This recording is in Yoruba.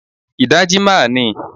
Ìdajì máà ni